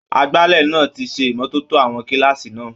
Agbálẹ̀ náà ti ṣe ìmọ́tótó àwọn kílààsì náà.